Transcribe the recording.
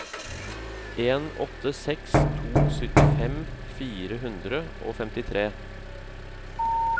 en åtte seks to syttifem fire hundre og femtifire